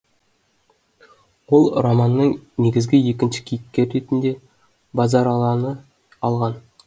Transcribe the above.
ол романның негізгі екінші кейіпкері ретінде базаралыны алған